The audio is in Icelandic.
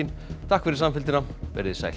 takk fyrir samfylgdina verið þið sæl